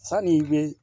Sani i bɛ